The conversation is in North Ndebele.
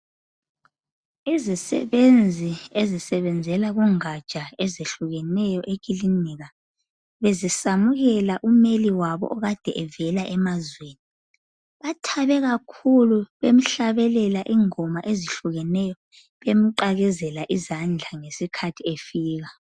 Izisebenzi ezisebenzela kungatsha ezehlukeneyo ekilinika bezisamukela umeli wabo okade evela emazweni. Bathabe kakhulu bemhlabelela ingoma ezehlukeneyo, bemqakezela izandla ngesikhathi efika.